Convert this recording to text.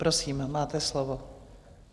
Prosím, máte slovo.